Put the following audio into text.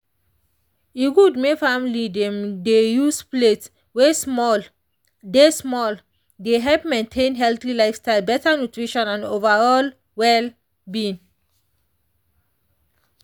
e good may family dem dey use plate wey smalle dey smalle dey help maintain healthy lifestyle better nutrition and overall well-being.